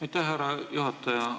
Aitäh, härra juhataja!